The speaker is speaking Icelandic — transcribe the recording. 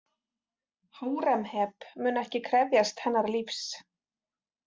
Hóremheb mun ekki krefjast hennar lífs.